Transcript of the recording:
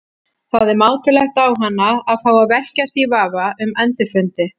Það er mátulegt á hana að fá að velkjast í vafa um endurfundi.